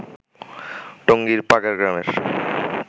টঙ্গীর পাগাড় গ্রামের